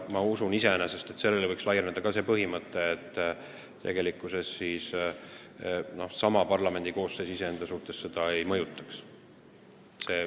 Ma usun, et sellele võiks laieneda ka see põhimõte, et üks parlamendikoosseis iseenda ametiajal seda ei mõjutaks.